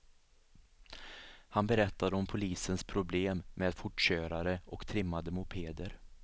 Han berättade om polisens problem med fortkörare och trimmade mopeder.